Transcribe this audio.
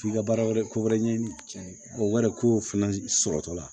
F'i ka baara wɛrɛ ko wɛrɛ ɲɛɲini o wari ko fɛnɛ sɔrɔtɔ la